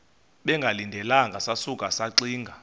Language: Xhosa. bengalindelanga sasuka saxinga